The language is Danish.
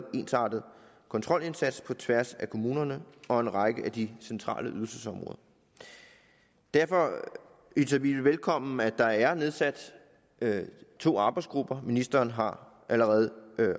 ensartet kontrolindsats på tværs af kommunerne og en række af de centrale ydelsesområder derfor hilser vi det velkommen at der er nedsat to arbejdsgrupper ministeren har allerede